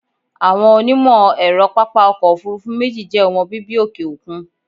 Àwọn onímọ̀ ẹ̀rọ pápá ọkọ̀ òfúrúfú méjì jẹ́ ọmọ bíbí òkè òkun.